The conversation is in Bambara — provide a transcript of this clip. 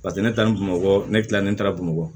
Paseke ne taara bamakɔ ne kilalen taara bamakɔ